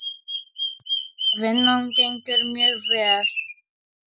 Vinnan gengur mjög vel.